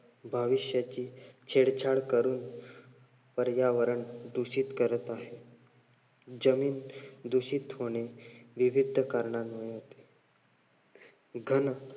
भविष्याची छेडछाड करून पर्यावरण दूषित करत आहे. जमीन दूषित होणे विविध कारणांमुळे होते.